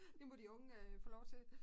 Det må de unge øh få lov til